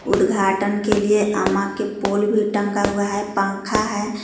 उदघाटन के लिए अमा के पूल भी टंगा हुआ है पंखा है ई--